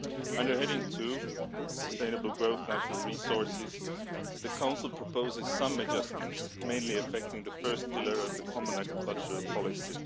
Under heading 2, Sustainable Growth and Natural Resources, the Council proposes some adjustments mainly affecting the first pillar of the common agricultural policy.